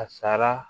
A sara